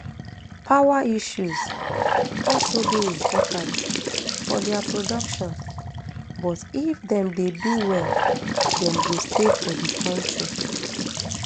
power issues also dey important for dia production but if dem dey do well dem go stay for di kontri